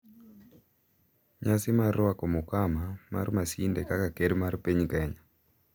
Nyasi mar rwako mukama mar Masinde kaka Ker mar Piny Kenya